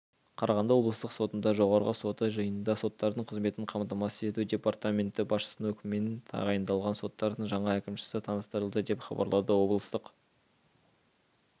қарағанды облыстық сотында жоғарғы соты жанындағы соттардың қызметін қамтамасыз ету департаменті басшысының өкімімен тағайындалған соттардың жаңа әкімшісі таныстырылды деп хабарлады облыстық